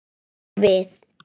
Eða við.